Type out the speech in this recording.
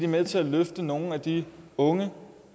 med til at løfte nogle af de unge